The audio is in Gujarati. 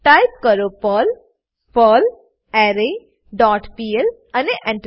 ટાઈપ કરો પર્લ પર્લરે ડોટ પીએલ અને Enter